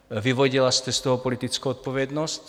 Vyvodila jste z toho politickou odpovědnost?